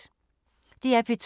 DR P2